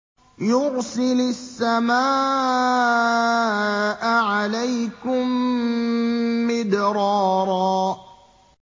يُرْسِلِ السَّمَاءَ عَلَيْكُم مِّدْرَارًا